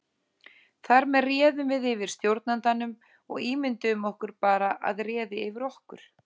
Þar með réðum við yfir stjórnandanum og ímynduðum okkur bara að réði yfir okkur.